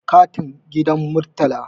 katun gidan murtala